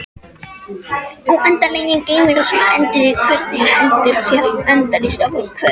Óendanlegi geimur sem endaði hvergi heldur hélt endalaust áfram- hvert?